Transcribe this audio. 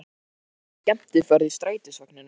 Þetta er svona skemmtiferð í strætisvagninum!